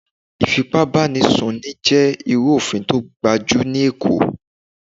Ìfipá bá ni sùn ní jẹ́ irú òfin tó ga jù ní Èkó.